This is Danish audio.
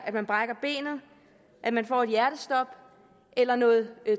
at man brækker benet at man får et hjertestop eller noget